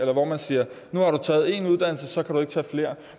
hvor man siger nu har du taget én uddannelse og så kan du ikke tage flere